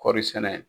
Kɔɔri sɛnɛ